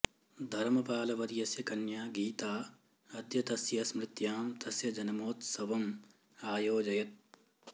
धरमपालवर्यस्य कन्या गीता अद्य तस्य स्मृत्यां तस्य जन्मोत्सवम् आयोजयत्